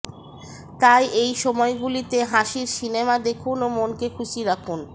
তাই এই সময়গুলিতে হাসির সিনেমা দেখুন ও মনকে খুশি রাখুন